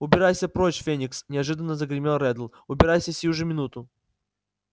убирайся прочь феникс неожиданно загремел реддл убирайся сию же минуту